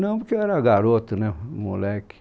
Não, porque eu era garoto, né moleque.